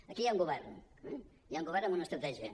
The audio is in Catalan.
aquí hi ha un govern eh hi ha un govern amb una estratègia